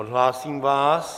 Odhlásím vás.